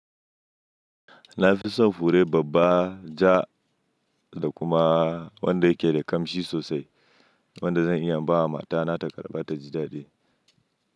Na fi son fure babba, ja da kuma wanda yake da ƙamshi sosai wanda zan iya bawa matana ta karɓa ta ji daɗi.